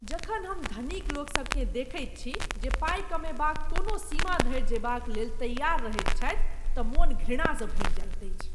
जखन हम धनीक लोकसभकेँ देखैत छी जे पाई कमयबाक कोनो सीमा धरि जयबालेल तैआर रहैत छथि तँ मन घृणासँ भरि जाइत अछि।